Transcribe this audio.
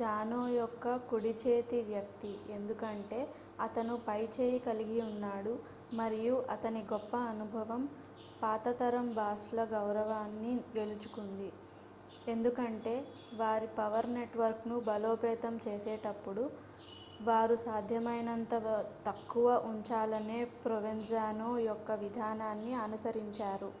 జానో యొక్క కుడి-చేతి వ్యక్తి ఎందుకంటే అతను పై చేయి కలిగి ఉన్నాడు మరియు అతని గొప్ప అనుభవం పాత తరం బాస్ ల గౌరవాన్ని గెలుచుకుంది ఎందుకంటే వారి పవర్ నెట్వర్క్ ను బలోపేతం చేసేటప్పుడు వారు సాధ్యమైనంత తక్కువ ఉంచాలనే provenzano యొక్క విధానాన్ని అనుసరించారు